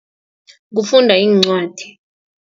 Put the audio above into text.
Kufunda iincwadi.